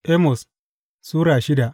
Amos Sura shida